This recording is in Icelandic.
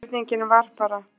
En spurningin var bara